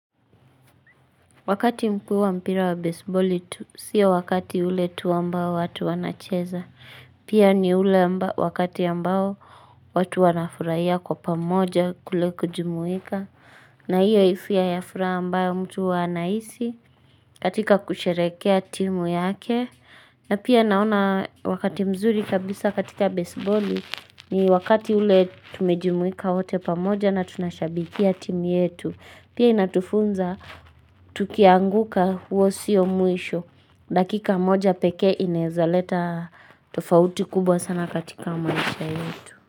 Wakati mkuu wa mpira wa baseballi, siobwakati ule tu ambao watu wanacheza. Pia ni ule wakati ambao watu wanafurahia kwa pamoja kule kujumuika. Na hiyo hisia ya furaha ambayo mtu anahisi katika kusherekea timu yake. Na pia naona wakati mzuri kabisa katika baseballi, ni wakati ule tumejumuika wote pamoja na tunashabikia timu yetu. Pia inatufunza, tukianguka huo sio mwisho. Dakika moja pekee inezaleta tofauti kubwa sana katika maisha yetu.